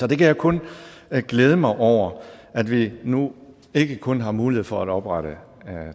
kan kun glæde mig over at vi nu ikke kun har mulighed for at oprette